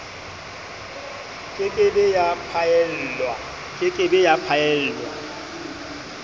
ke ke be ya phaellwa